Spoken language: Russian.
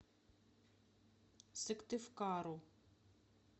сыктывкару